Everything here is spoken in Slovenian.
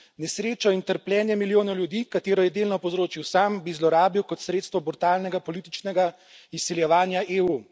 Nesrečo in trpljenje milijonov ljudi, katero je delno povzročil sam, bi zlorabil kot sredstvo brutalnega političnega izsiljevanja EU.